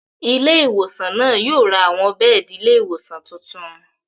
Ilé ìwòsàn náà yóò ra àwọn bẹ́ẹ̀di ilé ìwòsàn tuntun